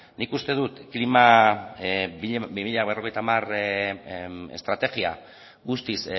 nik uste dut klima bi mila berrogeita hamar estrategia guztiz